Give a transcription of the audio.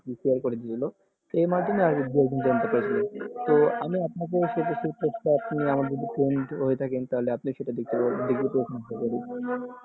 তো আমি আপনাকে, তো আপনি ওটা দেখতে পাবেন